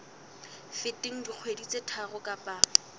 feteng dikgwedi tse tharo kapa